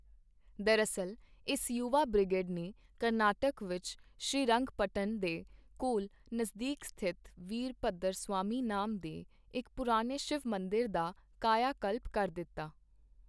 ਦਰਅਸਲ ਇਸ ਯੁਵਾ ਬਿ੍ਰਗੇਡ ਨੇ ਕਰਨਾਟਕ ਵਿੱਚ ਸ਼੍ਰੀਰੰਗਪਟਨ ਦੇ ਕੋਲ ਨਜ਼ਦੀਕ ਸਥਿਤ ਵੀਰਭੱਦਰ ਸਵਾਮੀ ਨਾਮ ਦੇ ਇੱਕ ਪੁਰਾਣੇ ਸ਼ਿਵ ਮੰਦਿਰ ਦਾ ਕਾਇਆਕਲਪ ਕਰ ਦਿੱਤਾ।